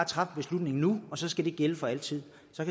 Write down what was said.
træffe beslutningen nu og så skal det gælde for altid jeg